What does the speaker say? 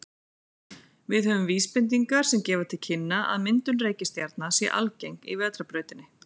Við höfum vísbendingar sem gefa til kynna að myndun reikistjarna sé algeng í Vetrarbrautinni.